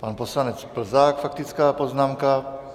Pan poslanec Plzák, faktická poznámka.